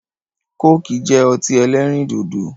Kóòkì jẹ́ ọtí ẹlẹ́rìn dòdò